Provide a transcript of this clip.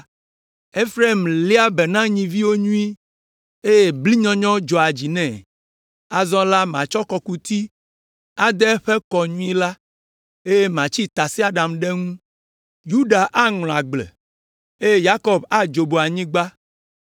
Efraim léa be na nyiviwo nyuie, eye blinyɔnyɔ hã dzɔa dzi nɛ; azɔ la matsɔ kɔkuti ade eƒe kɔ nyuie la, eye matsi ɖe tasiaɖam ŋu, Yuda aŋlɔ agble, eye Yakob adzobo anyigba